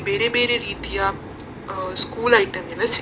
ಬೇರೆ ಬೇರೆ ರೀತಿಯ ಸ್ಕೂಲ್‌ ಐಟೆಮ್‌ ಎಲ್ಲ ಸಿಗುತ್ತದೆ --